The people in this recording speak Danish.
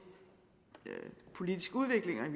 politisk udvikling